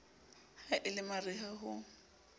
ha e le mariha ho